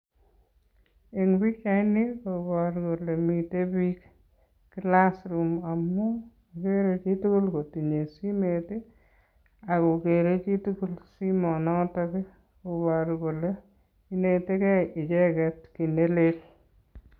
Eng pikchaini koporu kole mite biik class room amu akere chitukul kotinye simet, akokere chitukul simonotok i koporu kole inetekei icheket kiy nelel.